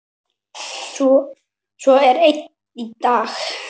Svo er enn í dag.